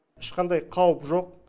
ешқандай қауіп жоқ